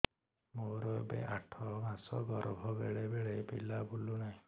ମୋର ଏବେ ଆଠ ମାସ ଗର୍ଭ ବେଳେ ବେଳେ ପିଲା ବୁଲୁ ନାହିଁ